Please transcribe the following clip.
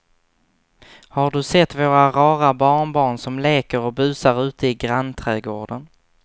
Har du sett våra rara barnbarn som leker och busar ute i grannträdgården!